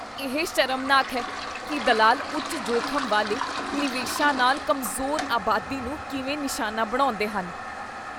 ਇਹ ਸ਼ਰਮਨਾਕ ਹੈ ਕੀ ਦਲਾਲ ਉੱਚ ਜੋਖ਼ਮ ਵਾਲੇ ਨਿਵੇਸ਼ਾਂ ਨਾਲ ਕਮਜ਼ੋਰ ਆਬਾਦੀ ਨੂੰ ਕਿਵੇਂ ਨਿਸ਼ਾਨਾ ਬਣਾਉਂਦੇਹਨ।